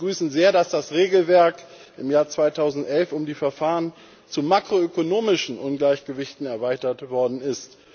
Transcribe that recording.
Wir begrüßen sehr, dass das Regelwerk im Jahr 2011 um die Verfahren zu makroökonomischen Ungleichgewichten erweitert worden ist.